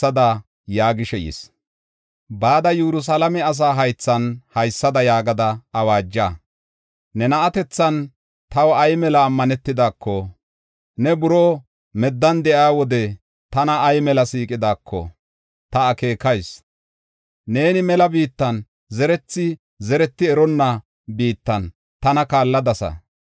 “Bada Yerusalaame asa haythan haysada yaagada awaaja. Ne na7atethan taw ay mela ammanetidako, ne buroo meddan de7iya wode tana ay mela siiqidaako, ta akeekayis. Neeni mela biittan zerethi zereti eronna biittan tana kaalladasa.